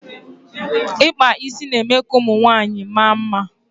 ikpa isi na eme ka ụmụ nwanyịwaanyị maa mma